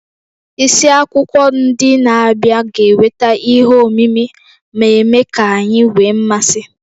Isiakwụkwọ ndị na-abịa ga-eweta ihe omimi, na-eme ka anyị nwee mmasị